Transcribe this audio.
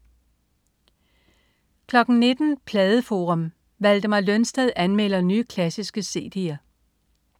19.00 Pladeforum. Valdemar Lønsted anmelder nye, klassiske cd'er